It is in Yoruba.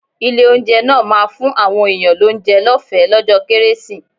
Ilé-oúnjẹ náà ma fún àwọn èèyàn lóúnjẹ lọ́ọ̀fẹ́ lọ́jọ́ kérésì.